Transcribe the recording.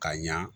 Ka ɲa